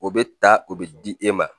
O bɛ ta o bɛ di e ma